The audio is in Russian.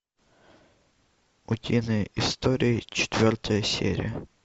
утиные истории четвертая серия